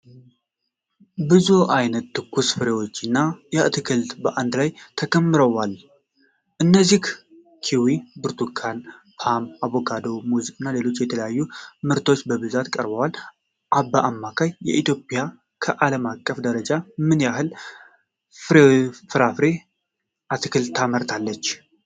ብዙ አይነት ትኩስ ፍራፍሬዎችና አትክልቶች በአንድ ላይ ተከምረዋል። ከእነዚህም ኪዊ፣ ብርቱካን፣ ፖም፣ አቮካዶ፣ ሙዝ እና ሌሎች የተለያዩ ምርቶች በብዛት ቀርበዋል። አማካኝ ኢትዮጵያ ከዓለም አቀፍ ደረጃ ምን ያህል ፍራፍሬና አትክልት ታመርታለች?